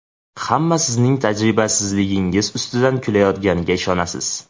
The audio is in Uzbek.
Hamma sizning tajribasizligingiz ustidan kulayotganiga ishonasiz.